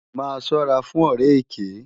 Má sòrá fún òrè èkè